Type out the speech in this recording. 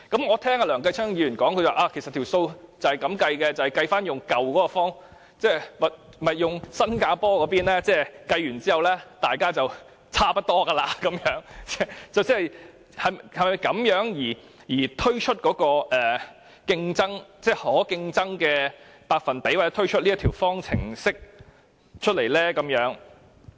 我聽到梁繼昌議員發言，指出如果按新加坡的計算方式得出數字，其實大家便會差不多，政府是否因此而推算出這個可競爭百分比或推算出這條方程式呢？